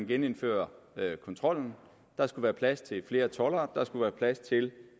genindføre kontrollen der skulle være plads til flere toldere der skulle være plads til